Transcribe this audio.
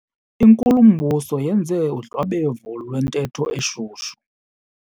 Inkulumbuso yenze udlwabevu lwentetho eshushu.